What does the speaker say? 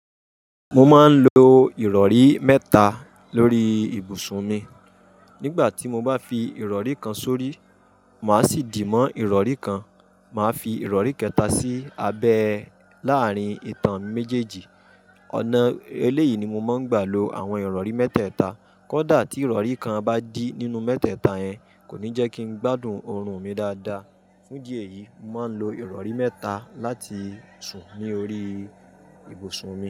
Mo máa ń lo ìrọ̀rí mẹ́ta lórí ibùsùn mi. Nígbà tí mo bá fi ìrọ̀rí kan sórí, màá sì dì mọ́ ìrọ̀rí kan. Màá fi ìrọ̀rí kẹta sí abẹ́ láàrín ìtàn méjèèjì. Ọ̀nà eléyìí ni mo máa ń gbà lo àwọn ìrọ̀rí mẹ́tẹ́ẹ̀ta. Kódà tí ìrọ̀rí kan bá dí nínú mẹ́tẹ́ẹ̀ta yẹn, kò ní jẹ́ kí n gbádùn oorun mi dáadáa. Fún idi èyí, mo máa ń lo ìrọ̀rí mẹ́ta láti sùn ní orí ibùsùn mi.